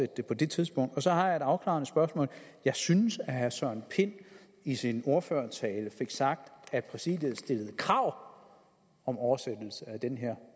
det på det tidspunkt så har jeg et afklarende spørgsmål jeg synes at herre søren pind i sin ordførertale fik sagt at præsidiet stillede krav om oversættelse af den her